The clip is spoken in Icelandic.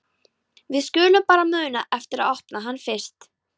Við skulum bara muna eftir að opna hann fyrst!